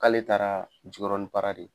K'ale taara jikɔrɔni para de